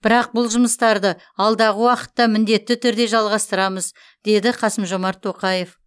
бірақ бұл жұмыстарды алдағы уақытта міндетті түрде жалғастырамыз деді қасым жомарт тоқаев